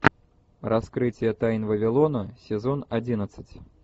раскрытие тайн вавилона сезон одиннадцать